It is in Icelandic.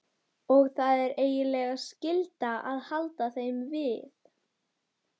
Og það er eiginlega skylda að halda þeim við.